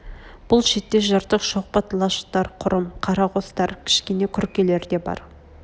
бұл шетте жыртық шоқпыт лашықтар құрым қара қостар кішкене күркелер де бар